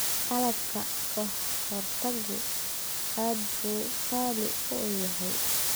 Qalabka ka hortaggu aad buu qaali u yahay.